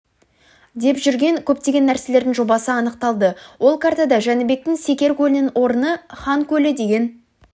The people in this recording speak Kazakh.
деп жүрген көптеген нәрселердің жобасы анықталды ол картада жәнібектің секер көлінің орны хан көлі деген